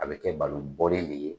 A bɛ kɛ balonbɔlen de ye